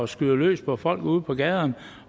skyder løs på folk ude på gaderne